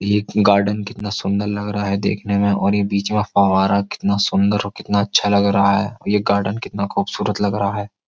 ये गार्डन कितना सुंदर लग रहा है देखने में और ये बीच में फवारा कितना सुंदर और कितना अच्छा लग रहा है और ये गार्डन कितना खूबसूरत लग रहा है।